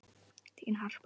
Þín, Harpa.